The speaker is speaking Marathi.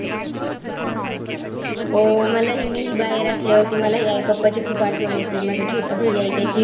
हो, मलाही मी ही बाहेर असल्यावरती मलाही आई-पप्पाची खूप आठवण येते माझा छोटा भैय्या